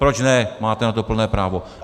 Proč ne, máte na to plné právo.